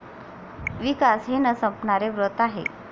विकास हे न संपणारे व्रत आहे.